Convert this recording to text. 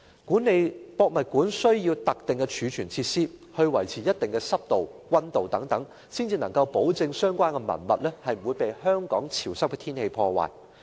故宮館需要特定的儲存設施，以維持一定的濕度和溫度，才能夠保證相關文物不會被香港潮濕的天氣破壞。